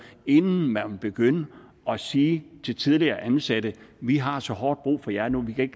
inden man vil begynde at sige til tidligere ansatte vi har så hårdt brug for jeg nu vi kan